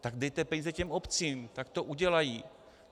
Tak dejte peníze těm obcím, ať to udělají.